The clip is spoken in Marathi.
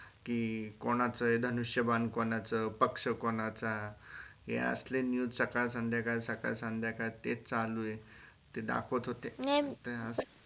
कि धनुष्यबान कोणाच पक्ष कोणाचा हे असल news सकाळ संध्याकाळ सकाळ संध्याकाळ तेच चालू हे ते दाखवत होते.